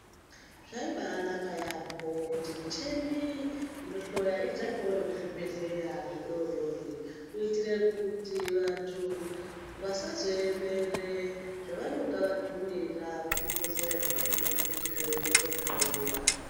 Zvaibaanaka yaampho, kuti micheni inohloya idzakewo nekuzvibhehleya zvidodori kuitire kuti vantu vasazoemere zvavanonga vatumira kuzvibhehleya zvikuru, kuti zviende kohlowiwa.